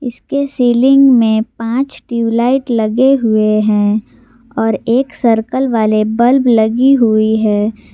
इसके सीलिंग में पांच ट्यूबलाइट लगे हुए हैं और एक सर्कल वाले बल्ब लगी हुई है।